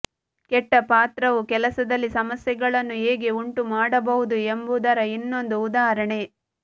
ಕೆಟ್ಟ ಪಾತ್ರವು ಕೆಲಸದಲ್ಲಿ ಸಮಸ್ಯೆಗಳನ್ನು ಹೇಗೆ ಉಂಟುಮಾಡಬಹುದು ಎಂಬುದರ ಇನ್ನೊಂದು ಉದಾಹರಣೆ